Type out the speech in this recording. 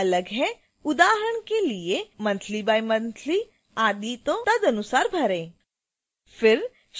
यदि आपका अलग है उदाहरण के लिए: monthly bimonthly आदि तो तदनुसार भरें